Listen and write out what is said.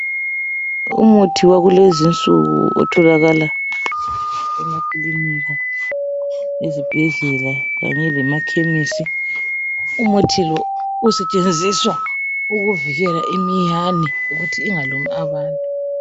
Umuthi wakulezinsuku otholakala ezibhedlela kanye lemakhemisi umuthi lo usetshenziswa ukuvikela imiyane ukuthi ingalumi abantu.